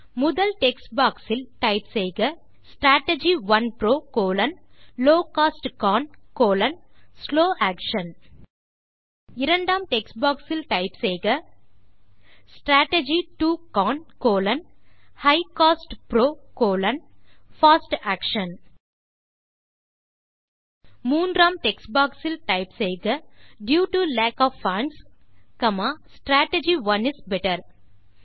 முதல் text box இல் type செய்க strategy 1 PRO low cost CON slow action இரண்டாம் டெக்ஸ்ட் பாக்ஸ் இல் டைப் செய்க strategy 2 CON high cost PRO fast action மூன்றாம் டெக்ஸ்ட் பாக்ஸ் இல் டைப் செய்க due to lack of funds strategy 1 is better